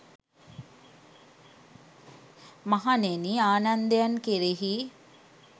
මහණෙනි ආනන්දයන් කෙරෙහි